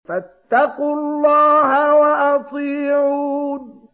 فَاتَّقُوا اللَّهَ وَأَطِيعُونِ